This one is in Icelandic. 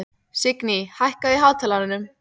Signý, hækkaðu í hátalaranum.